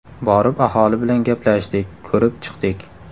Borib aholi bilan gaplashdik, ko‘rib chiqdik.